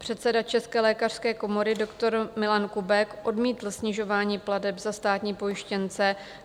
Předseda České lékařské komory doktor Milan Kubek odmítl snižování plateb za státní pojištěnce.